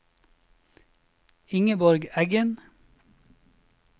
Ingeborg Eggen